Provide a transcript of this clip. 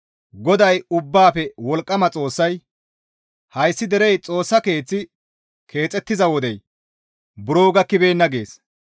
GODAY Ubbaafe Wolqqama Xoossay, «Hayssi derey, ‹Xoossa keeththi keexettiza wodey buro gakkibeenna› gees.»